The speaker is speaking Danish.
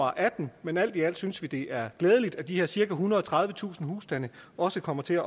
og atten men alt i alt synes vi det er glædeligt at de her cirka ethundrede og tredivetusind husstande også kommer til at